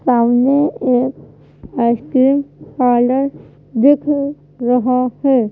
सामने एक ice cream parlour दिख रहा है।